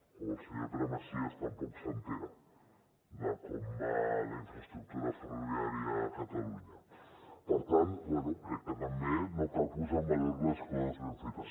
o el senyor pere macias tampoc s’assabenta de com va la infraestructura ferroviària a catalunya per tant bé crec que també cal posar en valor les coses ben fetes